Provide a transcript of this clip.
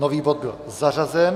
Nový bod byl zařazen.